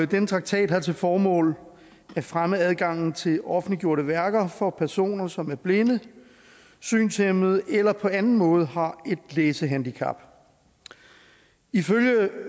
den traktat har til formål at fremme adgangen til offentliggjorte værker for personer som er blinde synshæmmede eller på anden måde har et læsehandicap ifølge